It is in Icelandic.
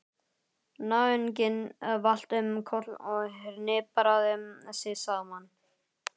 Náunginn valt um koll og hnipraði sig saman.